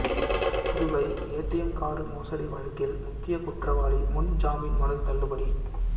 Puduvai ATM card மோசடி வழக்கில் முக்கிய குற்றவாளி முன் ஜாமீன் மனு தள்ளுபடி